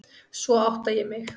Svo átta ég mig.